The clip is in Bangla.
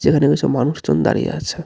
যেখানে কিছু মানুষজন দাঁড়িয়ে আছে.